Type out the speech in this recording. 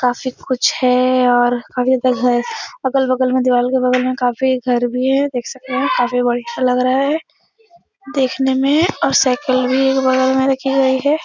काफी कुछ है और अगल बगल में दीवाल के बगल में काफी घर भी है। देख सकते हैं काफी बढ़िया लग रहा है देखने में और साइकिल भी एक बगल में रखी गयी है।